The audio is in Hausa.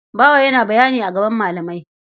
Bawa yana bayani a gaban malamai.